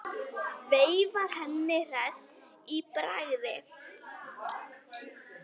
Veifar henni hress í bragði.